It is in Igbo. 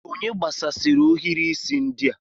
Onye gbasasịrị ohiri isi ndị a?